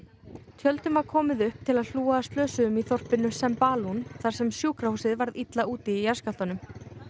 tjöldum var komið upp til að hlúa að slösuðum í þorpinu Sembalun þar sem sjúkrahúsið varð illa úti í jarðskjálftanum